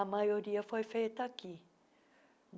A maioria foi feita aqui.